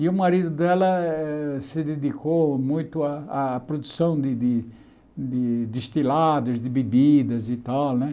E o marido dela eh se dedicou muito à produção de de de destilados, de bebidas e tal, né?